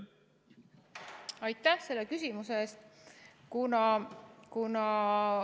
Aitäh selle küsimuse eest!